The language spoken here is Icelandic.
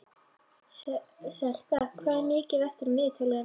Selka, hvað er mikið eftir af niðurteljaranum?